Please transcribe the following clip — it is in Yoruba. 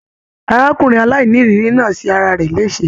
Arákùnrin aláìníiriri náà ṣe ará rẹ lese.